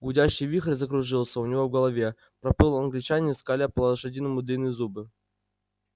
гудящий вихрь закружился у него в голове проплыл англичанин скаля по-лошадиному длинные зубы